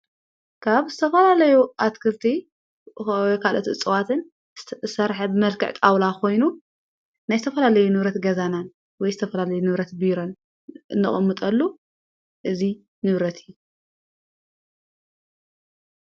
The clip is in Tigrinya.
ካብ ዝተፈላለዩ ኣትክልቲ ካለት እፅዋትን ሠርሐብ መልከዕ ጠውላ ኾይኑ ናይ ዝተፈላለይ ንብረት ገዛናን ወይ ዝተፈላለይ ነብረት ብይረን እቐሙጠሉ እዙይ ንብረት እዩ።